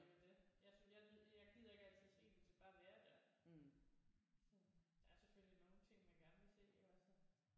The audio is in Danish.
Det er jo det jeg jeg jeg gider ikke altid se det det skal bare være der så der er selvfølgelig nogle ting man gerne vil se iggås altså